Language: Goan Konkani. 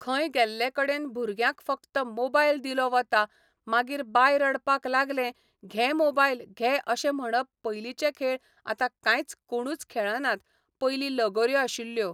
खंय गेल्ले कडेन भुरग्यांक फक्त मोबायल दिलो वता मागीर बाय रडपाक लागलें घे मोबायल घे अशें म्हणप पयलीचे खेळ आता कांयच कोणूच खेळनात पयलीं लगोऱ्यो आशिल्ल्यो